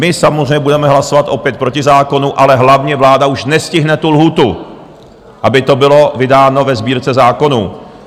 My samozřejmě budeme hlasovat opět proti zákonu, ale hlavně, vláda už nestihne tu lhůtu, aby to bylo vydáno ve Sbírce zákonů.